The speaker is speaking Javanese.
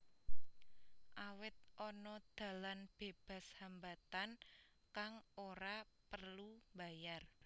Awit ana dalan bebas hambatan kang ora prelu mbayar